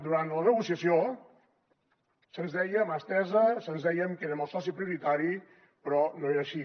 durant la negociació se’ns deia mà estesa se’ns deia que érem el soci prioritari però no era així